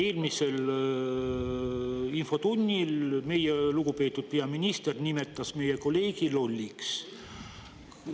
Eelmisel infotunnil meie lugupeetud peaminister nimetas meie kolleegi lolliks.